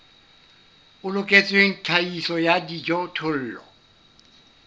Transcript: o loketseng tlhahiso ya dijothollo